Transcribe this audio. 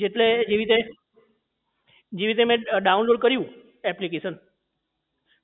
જેટલે એવી રીતે જેવી રીતે મેં download કર્યું application